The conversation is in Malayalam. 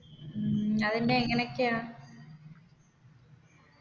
ഉം അതിൻെറ എങ്ങനൊക്കെയാ